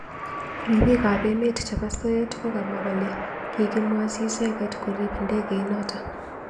Ribik ab emet chebo soet kokamwa kole kikimwochimicheket korib ndegeit notok.